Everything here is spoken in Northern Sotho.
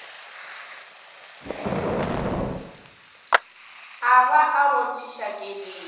a ba a rothiša keledi